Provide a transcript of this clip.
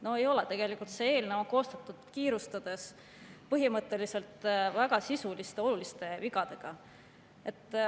No ei ole, tegelikult on see eelnõu koostatud kiirustades, põhimõtteliselt väga sisuliste, oluliste vigadega.